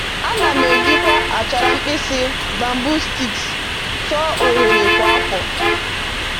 A na m ejikwa achara mkpịsị (bamboo sticks) tụọ oghere kwa afọ